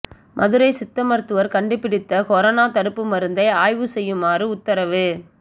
மதுரை சித்த மருத்துவர் கண்டுபிடித்த கொரோனா தடுப்பு மருந்தை ஆய்வு செய்யுமாறு உத்தரவு